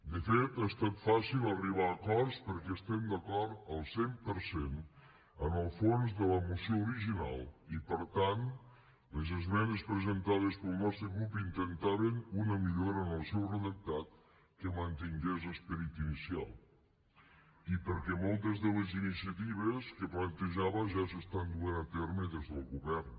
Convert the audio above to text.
de fet ha estat fàcil arribar a acords perquè estem d’acord al cent per cent en el fons de la moció original i per tant les esmenes presentades pel nostre grup intentaven una millora en el seu redactat que mantingués l’esperit inicial i perquè moltes de les iniciatives que plantejava ja s’estan duent a terme des del govern